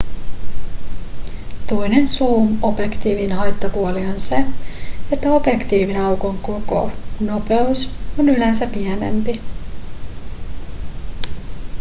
toinen zoom-objektiivien haittapuoli on se että objektiivin aukon koko nopeus on yleensä pienempi